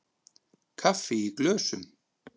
Kaffi í glösum.